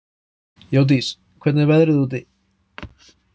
Jódís, hvernig er veðrið úti?